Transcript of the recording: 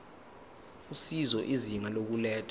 usizo izinga lokulethwa